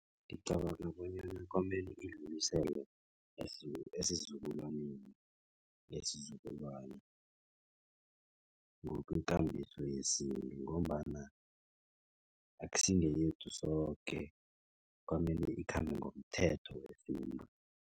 Ngicabanga bonyana kwamele idluliselwe esizukulwaneni nesizukulwana ngokwekambiso yesintu ngombana akusingeyethu soke. Kwamele ikhambe ngomthetho wesintu.